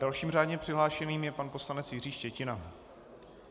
Dalším řádně přihlášeným je pan poslanec Jiří Štětina.